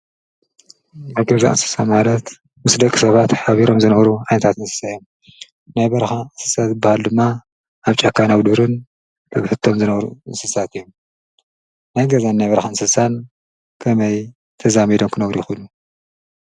ኣገዛዕትስሳ ማረት ሙስደ ኽሰባት ኃቢሮም ዘንዕሩ ዓንታትንስሰየ ናይ በርኻ ንስሳት በሃሉ ድማ ኣብ ጫካይናጕዱርን ብብህቶም ዘነዕሩ ንስሳት እዩም ናይገዛን ናይ በርኻ ንስሳን ከመይ ተዛሜዶምኩነጕሪ ይኹሉ?